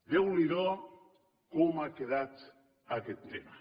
déu ni do com ha quedat aquest tema